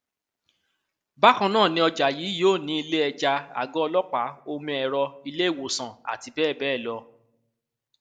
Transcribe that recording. bákan náà ni ọjà yìí yóò ní iléẹja àgọ ọlọpàá omi ẹrọ iléèwòsàn àti bẹẹ bẹẹ lọ